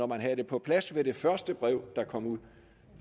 man havde det på plads da det første brev kom ud